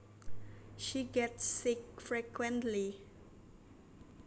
She gets sick frequently